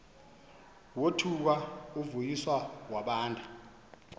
wothuka uvuyiswa wabanda